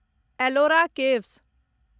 Ellora caves